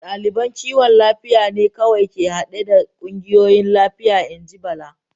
Daliban kiwon lafiya ne kawai ke hade da kungiyoyin lafiya, in ji Bala.